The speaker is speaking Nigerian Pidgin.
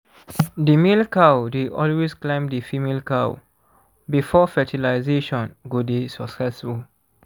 the male cow dey always climb the female cow before fertilazation go dey succesful